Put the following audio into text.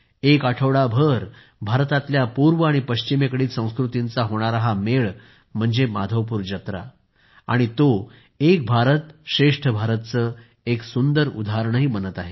एक आठवडाभर भारतातल्या पूर्व आणि पश्चिमेकडील संस्कृतींचा होणारा हा मेळ म्हणजे माधवपूर जत्रा आहे आणि तो एक भारत श्रेष्ठ भारतचे सुंदर उदाहरण बनत आहे